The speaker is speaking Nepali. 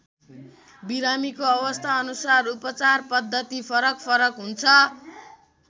बिरामीको अवस्थाअनुसार उपचार पद्धति फरक फरक हुन्छ।